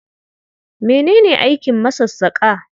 Mene ne aikin masassaƙa?